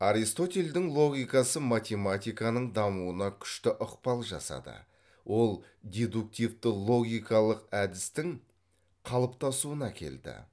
аристотельдің логикасы математиканың дамуына күшті ықпал жасады ол дедуктивті логикалық әдістің қалыптасыуына әкелді